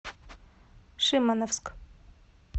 шимановск